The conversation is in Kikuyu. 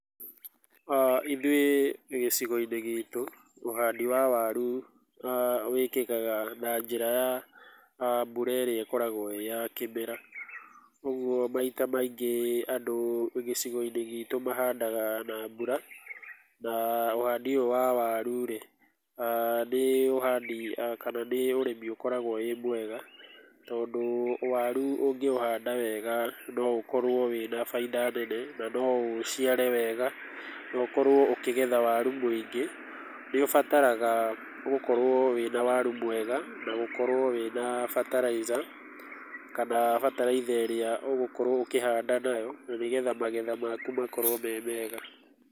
Ithuĩ gĩcigo-inĩ gitũ ũhandi wa waru wĩkĩkaga na njĩra ya mbura ĩrĩa ĩkoragwo ĩĩ ya kĩmera. Ũguo maita maingĩ andũ gĩcigo-inĩ gitũ mahandaga na mbura na ũhandi ũyũ wa waru rĩ, nĩ ũhandi kana nĩ ũrĩmi ũkoragwo wĩ mwega, tondũ waru ũngĩũhanda wega no ũkorwo wĩna baita nene na no ũciare wega na no ũkorwo ũkĩgetha waru mũingĩ. Nĩ ũbataraga gũkorwo wĩna waru na gũkorwo wĩna bataraitha, kana bataraitha ĩrĩa ũgũkorwo ũkĩhanda nayo na nĩgetha magetha maku makorwo me mega.